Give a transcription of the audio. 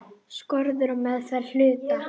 Skorður á meðferð hluta.